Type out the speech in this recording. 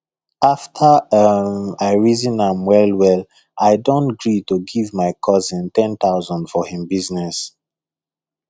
after um i reason am well well i don gree to give my cousin 10000 for him business